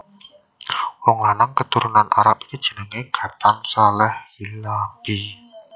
Wong lanang katurunan Arab iki jenengé Ghatan Saleh Hilabi